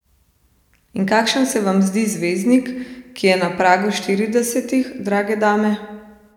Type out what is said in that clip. In kakšen se vam zdi zvezdnik, ki je na pragu štiridesetih, drage dame?